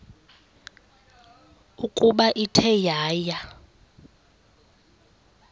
ukuba ithe yaya